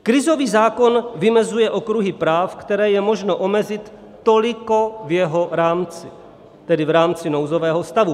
Krizový zákon vymezuje okruhy práv, které je možno omezit toliko v jeho rámci, tedy v rámci nouzového stavu.